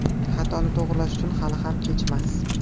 Xatoni to‘g‘rilash uchun hali ham kechmas.